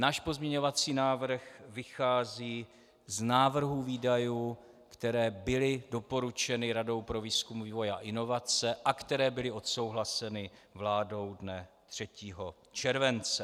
Náš pozměňovací návrh vychází z návrhů výdajů, které byly doporučeny Radou pro výzkum, vývoj a inovace a které byly odsouhlaseny vládou dne 3. července.